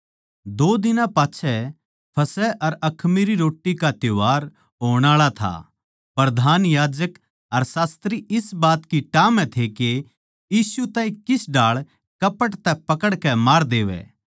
दो दिनां पाच्छै फसह अर अखमीरी रोट्टी का त्यौहार होण आळा था प्रधान याजक अर शास्त्री इस बात की टाह म्ह थे के यीशु ताहीं किस ढाळ कपट तै पकड़कै मार देवै